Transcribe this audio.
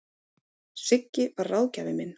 Siggi var ráðgjafinn minn.